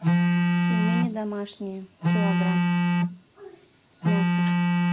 пельмени домашние килограмм с мясом